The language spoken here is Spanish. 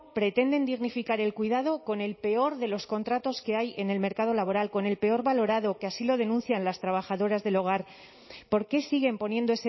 pretenden dignificar el cuidado con el peor de los contratos que hay en el mercado laboral con el peor valorado que así lo denuncian las trabajadoras del hogar por qué siguen poniendo